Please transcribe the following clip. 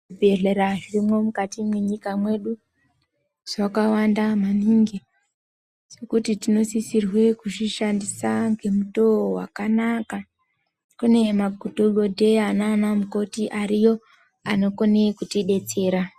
Zvibhedhlera zvirimwo mukati mwenyika mwedu. Zvakawanda maningi, zvekuti tinosisirwe kuzvishandisa ngemutoo wakanaka. Kune madhokodheya maanamukoti ariyo, anokone kutidetsera.